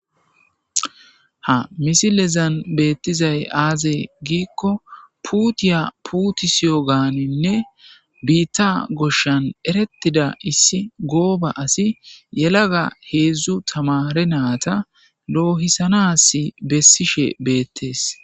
Ha misilezan beettizay aazee giikko puutiya putisiyo gaaninne biitta goshshan erettida issi gooba asi yelaga heedzdzu tamare naata loohisanas bessishe beettees.